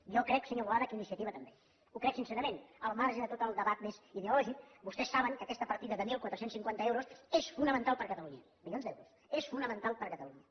jo crec senyor boada que iniciativa també ho crec sincerament al marge de tot el debat més ideològic vostès saben que aquesta partida de catorze cinquanta milions euros és fonamental per a catalunya és fonamental per a catalunya